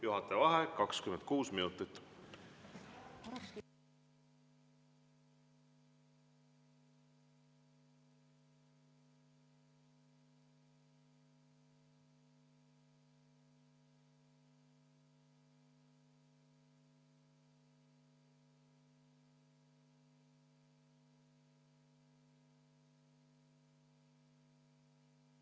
Juhataja vaheaeg 26 minutit.